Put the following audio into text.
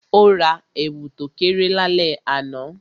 O ra èwù to kéré lálẹ́ àná